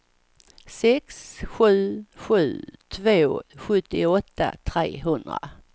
sex sju sju två sjuttioåtta trehundra